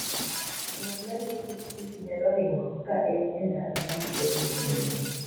Ng'at ma riembo pikipiki nyalo ringo ka en e ndara ma mtokni ng'enyie.